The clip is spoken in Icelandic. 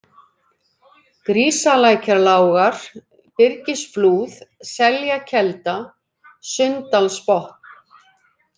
Grísalækjarlágar, Birgisflúð, Seljakelda, Sunndalsbotn